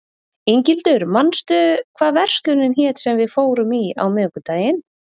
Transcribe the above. Inghildur, manstu hvað verslunin hét sem við fórum í á miðvikudaginn?